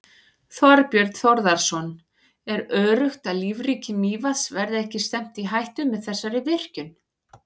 Þorbjörn Þórðarson: Er öruggt að lífríki Mývatns verði ekki stefnt í hættu með þessari virkjun?